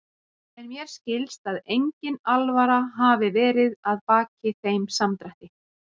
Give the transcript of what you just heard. En mér skilst að engin alvara hafi verið að baki þeim samdrætti.